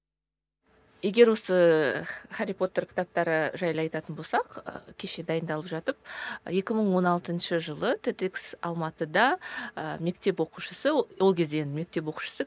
егер осы хәрри потер кітаптары жайлы айтатын болсақ ы кеше дайындалып жатып екі мың он алтыншы жылы те де икс алматыда ы мектеп оқушысы ол кезде енді мектеп оқушысы